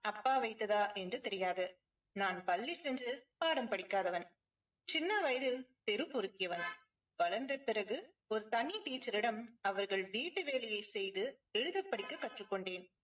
அப்பா வைத்ததா என்று தெரியாது. நான் பள்ளி சென்று பாடம் படிக்காதவன். சின்ன வயதில் தெரு பொறுக்கியவன். வளர்ந்த பிறகு ஒரு தனி டீச்சரிடம் அவர்கள் வீட்டு வேலையை செய்து எழுத படிக்க கற்றுக் கொண்டேன்.